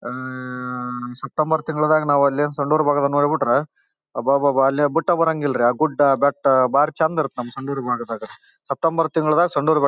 ಅಮ್ಮ್ಮ್ಮ್ಮ್ಮ್ September ತಿಂಗಳಾದಾಗ್ ನಾವ್ ಎಲ್ ಏನ್ ಸೊಂಡೂರು ಬಾರ್ಡರ್ ನೋಡ್ಬಿಟ್ರೆ ಅಬಬ್ಬಾ ಅಲ್ಲೇ ಬಿಟ್ಟೆ ಬರಹನ್ಗ್ ಇಲ್ರಿ ಆ ಬೆಟ್ಟ ಗುಡ್ಡ ಬಾರಿ ಚೆಂದ ಇರತ್ತ್ ನಮ್ ಸೊಂಡುರ್ ಬಾರ್ಡರ್ ದಾಗ ಸೆಪ್ಟೆಂಬರ್ ತಿಂಗಳಾದಾಗ್ ಸೊಂಡೂರು ಬರಿ --